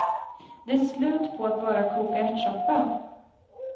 Det är slut på att bara koka ärtsoppa.